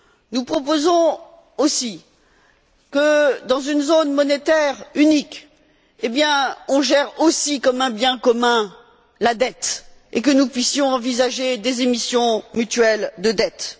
Nous proposons également que dans une zone monétaire unique, on gère aussi comme un bien commun la dette et que nous puissions envisager des émissions mutuelles de dettes.